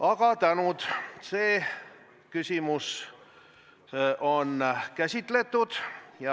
Aga palju tänu, see küsimus on käsitletud!